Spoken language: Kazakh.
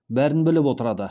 бәрін біліп отырады